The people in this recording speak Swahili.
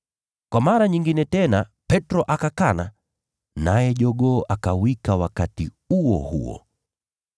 Kwa mara nyingine tena Petro akakana, naye jogoo akawika wakati huo huo.